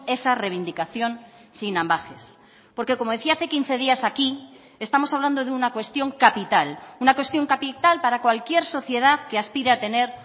esa reivindicación sin ambages porque como decía hace quince días aquí estamos hablando de una cuestión capital una cuestión capital para cualquier sociedad que aspira a tener